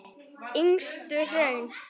Yngstu hraun